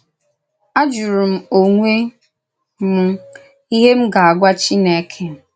Á jùrù m onwe m íhè m gà-àgwà Chìnèkè.